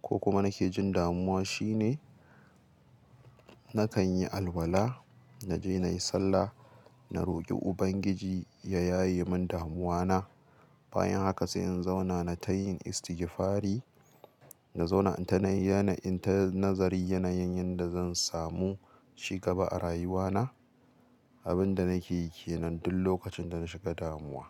ko kuma nake jin damuwa shine nakan yi alwala, na je na yi sallah, na roƙi Ubangiji ya yaye min damuwana. Bayan haka sai in zauna na tayi istigifari, na zauna ina yana, ina nazari yanayin yanda zan samu ci gaba a rayuwana. Abin da nake yi kenan duk lokacin da na shiga damuwa.